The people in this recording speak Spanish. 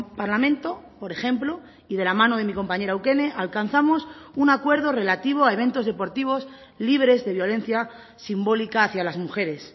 parlamento por ejemplo y de la mano de mi compañera eukene alcanzamos un acuerdo relativo a eventos deportivos libres de violencia simbólica hacia las mujeres